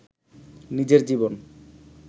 নিজের জীবন